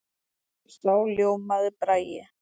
Þá ljómaði Bragi.